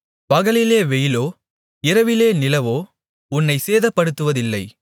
பகலிலே வெயிலோ இரவிலே நிலவோ உன்னைச் சேதப்படுத்துவதில்லை